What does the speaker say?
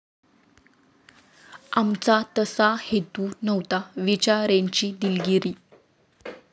आमचा तसा हेतू नव्हता, विचारेंची दिलगिरी